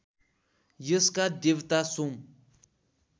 यसका देवता सोम